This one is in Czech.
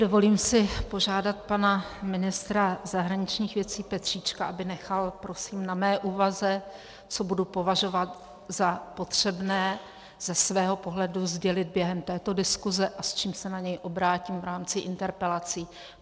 Dovolím si požádat pana ministra zahraničních věcí Petříčka, aby nechal prosím na mé úvaze, co budu považovat za potřebné ze svého pohledu sdělit během této diskuse a s čím se na něj obrátím v rámci interpelací.